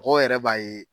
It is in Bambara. Mɔgɔw yɛrɛ b'a ye